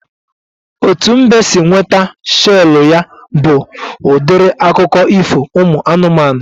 Etu mbe si nweta shelu ya bụ udiri akụkọ ifo ụmụ anụmanụ